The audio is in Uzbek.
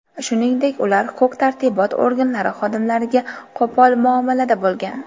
Shuningdek ular huquq-tartibot organlari xodimlariga qo‘pol muomalada bo‘lgan.